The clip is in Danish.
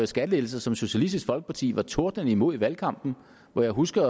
skattelettelser som socialistisk folkeparti var tordnende imod i valgkampen og jeg husker